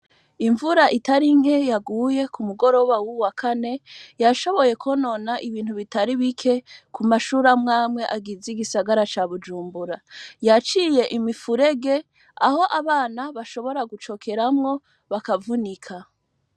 Imvura itari nke yaguye ku mugoroba wuwu wa kane yashoboye konona ibintu bitari bike ku ma shure amwamwe agize igisagara ca Bujumbura. Yaciye imifurege aho abana bashobora gucokeramwo bakavunika.